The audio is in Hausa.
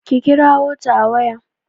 kirawo ta a waya!